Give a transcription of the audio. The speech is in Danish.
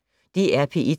DR P1